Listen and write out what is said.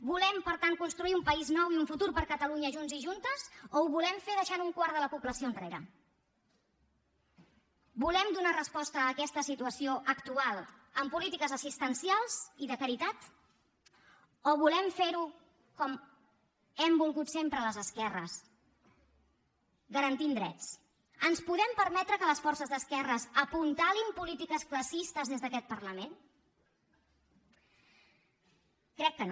volem per tant construir un país nou i un futur per a catalunya junts i juntes o ho volem fer deixant un quart de la població enrere volem donar resposta a aquesta situació actual amb polítiques assistencials i de caritat o volem fer ho com hem volgut sempre les esquerres garantint drets ens podem permetre que les forces d’esquerres apuntalin polítiques classistes des d’aquest parlament crec que no